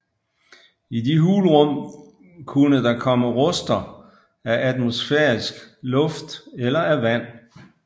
I de hulrum kunne der komme ruster af atmosfærisk luft eller af vand